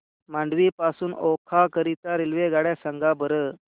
मांडवी पासून ओखा करीता रेल्वेगाड्या सांगा बरं